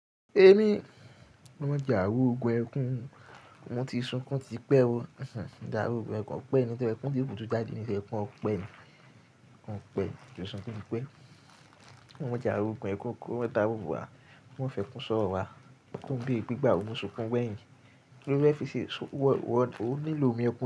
Èmi, olorun ma jẹ àrògun ẹkún, mo ti sunkún tipẹ́ o. Àrògun ẹkún ọpẹ́ ni tí ẹkún tó kú tó jáde ní ẹkún ọpẹ́ ni, ọpẹ́ tí ó sunkún tipẹ́. Wọ́n jẹ àrògun ẹkún kí ó dáwùú wá, kò mọ fẹ́ kun sọ́rọ̀ wá. To ń bèrè pé ìgbà wo mo sunkún gbẹ̀yìn. Kí ló fẹ́ fi ṣe? Ó nílò omi ẹkún.